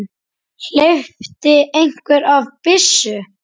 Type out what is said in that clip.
Hleypti einhver af byssu?